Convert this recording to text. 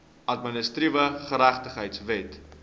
administratiewe geregtigheid wet